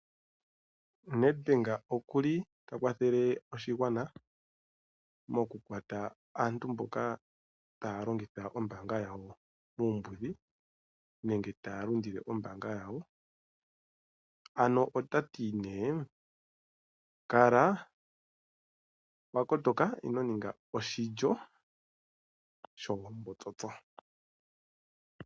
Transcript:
NedBank okuli ta kwathele oshigwana mokukwata aantu mboka taa longitha ombaanga yawo muumbudhi, nenge taa lundile ombaanga yawo. Ano ota ti nee, kala wa kotoka ino ninga oshilyo shoombotsotso.